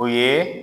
O ye